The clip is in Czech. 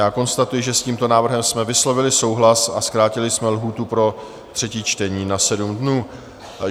Já konstatuji, že s tímto návrhem jsme vyslovili souhlas a zkrátili jsme lhůtu pro třetí čtení na 7 dnů.